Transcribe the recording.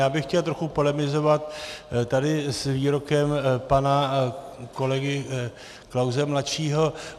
Já bych chtěl trochu polemizovat tady s výrokem pana kolegy Klause mladšího.